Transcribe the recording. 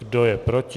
Kdo je proti?